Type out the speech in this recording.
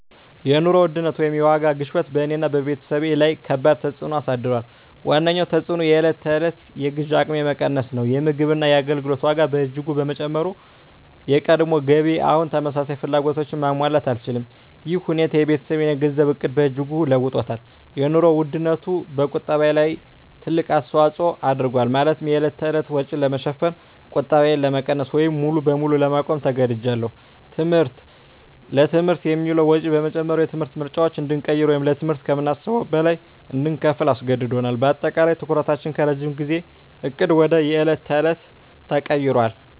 የኑሮ ውድነት (የዋጋ ግሽበት) በእኔና በቤተሰቤ ላይ ከባድ ተፅዕኖ አሳድሯል። ዋነኛው ተፅዕኖ የዕለት ተዕለት የግዢ አቅሜ መቀነስ ነው። የምግብና የአገልግሎት ዋጋ በእጅጉ በመጨመሩ፣ የቀድሞ ገቢዬ አሁን ተመሳሳይ ፍላጎቶችን ማሟላት አልቻለም። ይህ ሁኔታ የቤተሰቤን የገንዘብ ዕቅድ በእጅጉ ለውጦታል - የኑሮ ውድነቱ በቁጠባዬ ላይ ትልቅ አስተዋጽኦ አድርጓል፤ ማለትም የዕለት ተዕለት ወጪን ለመሸፈን ቁጠባዬን ለመቀነስ ወይም ሙሉ በሙሉ ለማቆም ተገድጃለሁ። ትምህርት: ለትምህርት የሚውለው ወጪ በመጨመሩ፣ የትምህርት ምርጫዎችን እንድንቀይር ወይም ለትምህርት ከምናስበው በላይ እንድንከፍል አስገድዶናል። በአጠቃላይ፣ ትኩረታችን ከረጅም ጊዜ ዕቅድ ወደ የዕለት ተዕለት ተቀይሯል።